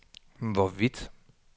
hvorvidt